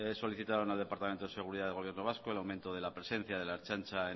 solicitaron al departamento de seguridad del gobierno vasco el aumento de la presencia de la ertzaintza